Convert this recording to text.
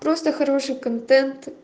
просто хороший контент